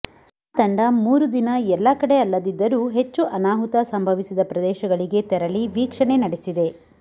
ಆ ತಂಡ ಮೂರು ದಿನ ಎಲ್ಲ ಕಡೆ ಅಲ್ಲದಿದ್ದರೂ ಹೆಚ್ಚು ಅನಾಹುತ ಸಂಭವಿಸಿದ ಪ್ರದೇಶಗಳಿಗೆ ತೆರಳಿ ವೀಕ್ಷಣೆ ನಡೆಸಿದೆ